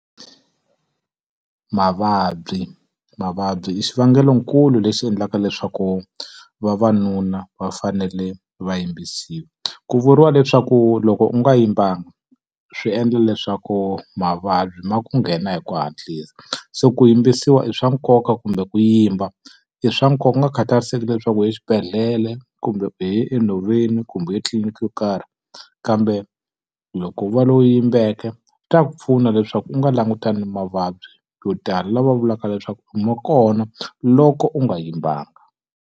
Mavabyi. Mavabyi i xivangelonkulu lexi endlaka leswaku vavanuna va fanele va yimbisiwa. Ku vuriwa leswaku loko u nga yimbanga swi endla leswaku mavabyi ma ku nghena hi ku hatlisa. Se ku yimbisiwa i swa nkoka kumbe ku yimba i swa nkoka ku nga khatariseki leswaku u ye exibedhlele, kumbe i ye enhoveni, ku mbuyelo etliliniki yo karhi. Kambe loko u va loyi u yimbeke swi ta ku pfuna leswaku u nga langutani na mavabyi yo tala lawa va vulaka leswaku ma kona loko u nga yimbanga.